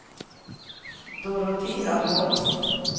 Dorotea Holst